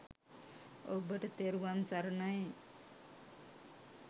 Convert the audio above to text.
ඔබට තෙරුවන් සරණයි